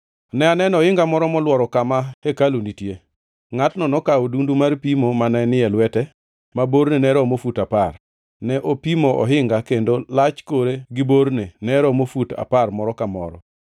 Ne aneno ohinga moro molworo kama hekalu nitie. Ngʼatno nokaw odundu mar pimo mane ni e lwete ma borne ne romo fut apar. Ne opimo ohinga, kendo lach kore gi borne ne romo fut apar moro ka moro.